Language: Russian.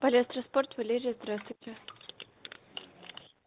палестра спорт валерия здравствуйте